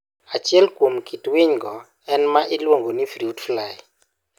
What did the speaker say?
Achiel kuom kit winygo en ma iluongo ni fruit fly.